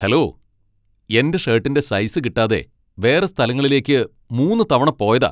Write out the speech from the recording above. Hello, എന്റെ ഷർട്ടിന്റെ size കിട്ടാതെ വേറെ സ്ഥലങ്ങളിലേക്ക് മൂന്ന് തവണ പോയതാ.